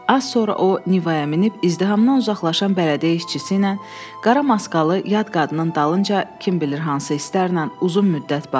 Az sonra o Nivaya minib izdihamdan uzaqlaşan bələdiyyə işçisi ilə qara maskalı yad qadının dalınca kim bilir hansı istəklə uzun müddət baxdı.